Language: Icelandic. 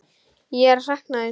Ég sakna þín.